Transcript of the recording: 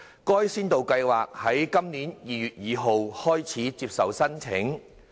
該先導計劃於今年2月2日開始接受申請。